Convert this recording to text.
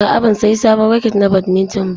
A'a, ban sayi sabon raket na badminton ba.